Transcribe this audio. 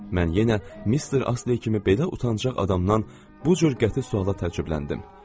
Mən yenə Mister Astley kimi belə utancaq adamdan bu cür qəti suala təəccübləndim.